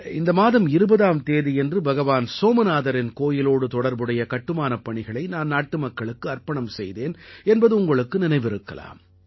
இந்த மாதம் 20ஆம் தேதியன்று பகவான் சோமநாதரின் கோயிலோடு தொடர்புடைய கட்டுமானப் பணிகளை நான் நாட்டு மக்களுக்கு அர்ப்பணம் செய்தேன் என்பது உங்களுக்கு நினைவிருக்கலாம்